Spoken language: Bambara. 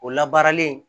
O labaaralen